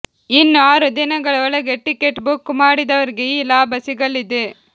ಇನ್ನು ಆರು ದಿನಗಳ ಒಳಗೆ ಟಿಕೆಟ್ ಬುಕ್ ಮಾಡಿದವರಿಗೆ ಈ ಲಾಭ ಸಿಗಲಿದೆ